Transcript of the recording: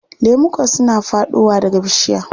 Lemuka suna faɗowa daga bishiya.